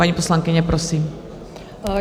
Paní poslankyně, prosím.